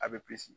A bɛ